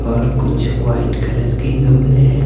और कुछ white colour के गमले हैं।